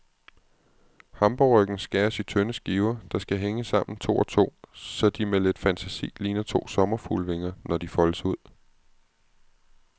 Hamburgerryggen skæres i tynde skiver, der skal hænge sammen to og to, så de med lidt fantasi ligner to sommerfuglevinger, når de foldes ud.